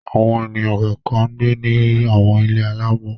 Àwọn ènìyàn kọ̀ọ̀kan ń gbé ní àwọn ilé alaámọ̀.